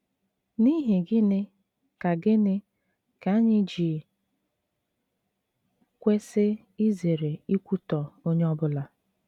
N’ihi gịnị ka gịnị ka anyị ji kwesị izere ikwutọ onye ọ bụla?